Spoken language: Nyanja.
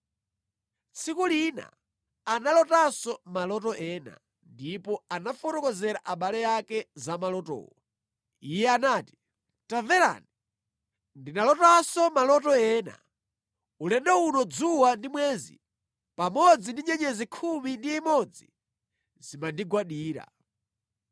Tsiku lina analotanso maloto ena, ndipo anafotokozera abale ake za malotowo. Iye anati, “Tamverani, ndinalotanso maloto ena. Ulendo uno dzuwa ndi mwezi pamodzi ndi nyenyezi khumi ndi imodzi zimandigwadira.”